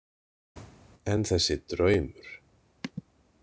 En þessi draumur.